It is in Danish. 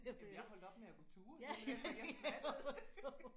Jamen jeg holdt op med at gå ture simpelthen fordi jeg skvattede